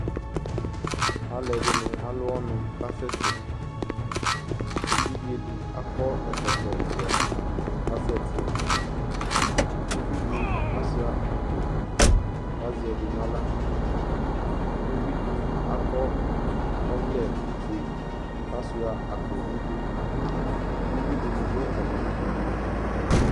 Alu ɛdini alʋ ɔnu kasɛsɛƐvidze di akɔ ɛkɔtɔ ublu kasɛtiUvidi asuia akpo, kazɛ ɛdi naɣlaUvidi akɔ ɔvlɛ fue kasuia akpo niduUwui dini dʋ atamidu